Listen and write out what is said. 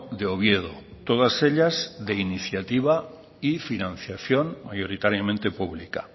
de oviedo todas ellas de iniciativa y financiación mayoritariamente pública